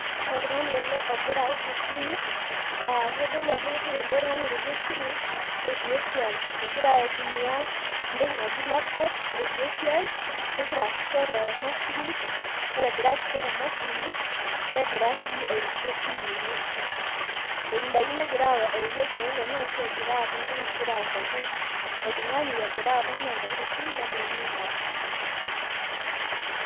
oltung'ani ele ogira aosh esimu aa kitodolu ajo kengira laitumiya laptop etii esiaai kegira asisho temashini negira sii airorie esimu ebaki neeta oltung'ani ogira autaki esiaai telaptop egira airoriie tesimu.